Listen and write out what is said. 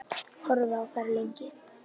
Horfði á þær lengi.